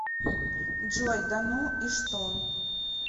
джой да ну и что